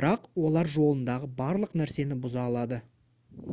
бірақ оларжолындағы барлық нәрсені бұза алады